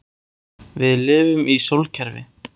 Við lifum í sólkerfi.